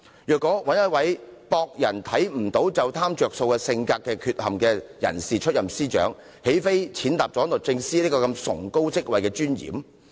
如果由這個有性格缺陷，以為別人不察覺便貪圖"着數"的人出任司長，豈非踐踏了律政司司長這崇高職位的尊嚴？